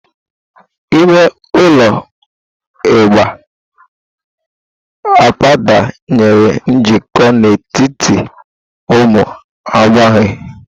Ime ụlọ igba abụba nyere njikọ n'etiti ụmụ agbọghọ.